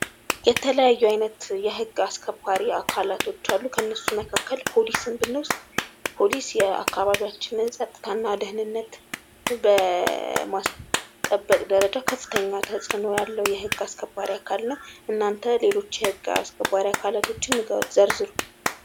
የተለያዩ አይነት የህግ አስከባሪ አካላቶች አሉ። ከእነሱ መካከል ፖሊስን ብንወስድ ፖሊስ የአካባቢያችንን ፀጥታና ደኅንነት በማስጠበቅ ደረጃ ከፍተኛ ተፅዕኖ ያለዉ የህግ አስከባሪ አካል ነዉ። እናተ ሌሎች የህግ አስከባሪ አካላቶችን ዘርዝሩ?